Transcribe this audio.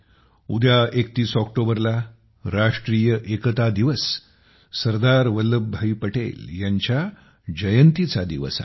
उद्या 31 ऑक्टोबरला राष्ट्रीय एकता दिवस सरदार वल्लभभाई पटेल यांच्या जयंतीचा दिवस आहे